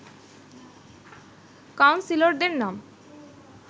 কাউন্সিলরদের নাম